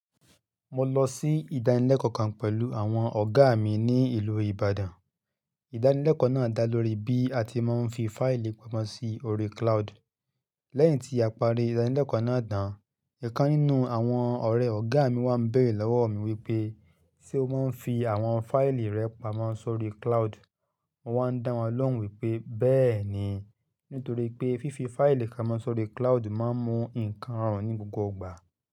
Mo lọ sí ìdánilẹ́kọ̀ọ́ kan pẹ̀lú àwọn ọ̀gá mi ní ìlú Ìbàdàn. Ìdánilẹ́kọ̀ọ́ náà dá lórí bí a ti máa ń fi fáìlì pamọ́ sí orí cloud. Lẹ́yìn tí a parí ìdánilẹ́kọ̀ọ́ náà dá tán, ìkan nínú àwọn ọ̀rẹ́ ọ̀gá mi wá ń bẹ̀rẹ̀ lọ́wọ́ mi wípé, "ṣé o máa ń fi àwọn fáìlì rẹ pamọ́ sórí cloud?" Mo wá ń dá wọn lọ́hùn wípé, "bẹ́ẹ̀ni, nítorí pé fífi fáìlì pamọ́ sórí cloud máa ń mú ǹkan rọrùn ní gbogbo ìgbà.